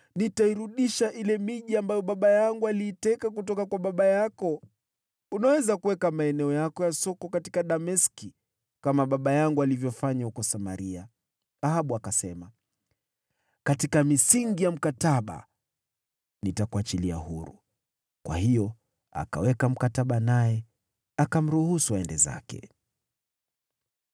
“Nitairudisha ile miji ambayo baba yangu aliiteka kutoka kwa baba yako. Unaweza kuweka maeneo yako ya soko katika Dameski, kama baba yangu alivyofanya huko Samaria.” Ahabu akasema, “Katika misingi ya mkataba, nitakuachilia huru.” Kwa hiyo akaweka mkataba naye, akamruhusu aende zake.